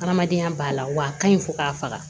Adamadenya b'a la wa a ka ɲi fo k'a faga